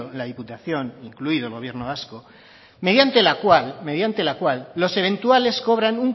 la diputación incluido el gobierno vasco mediante la cual mediante la cual los eventuales cobran